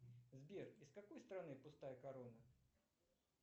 сбер из какой страны пустая корона